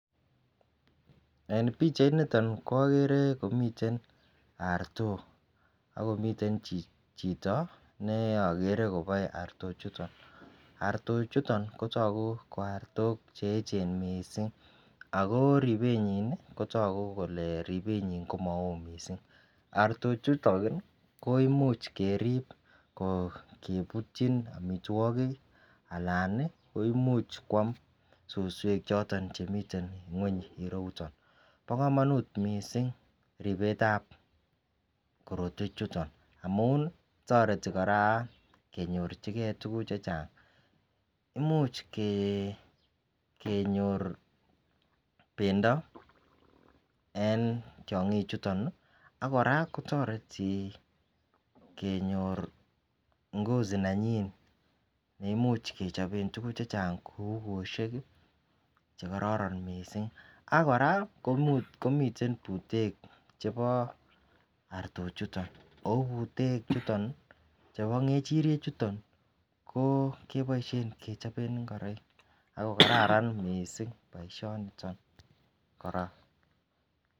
En pichait niton ko agere komiten artok Ako miten chito neagere kopoe arto chuton arto chuton kotoku ko artok cheechen mising Ako ripenyi kotogu kole ripee nyii komaoo mising arto chuton koimuch kerip ko keputchin amitwokik alan koimuch koam susuek choton chemiten ng'weny rieyuto po komonut mising ripet ap korotwechuton amun toreti kora kenyorchige tuguuk chechang muchkenyor pendo en tiong'ik chuton akora kotoreti kenyor ngozi nenyin neimuch kechopen tuguk chechang kou kwoshek chekororon mising Ako kora komiten putek chepo arto chuton ako putek chuton po ngechoriet chuton ko kepoishe kechopen ngoroik Ako kararan mising poishonito kora.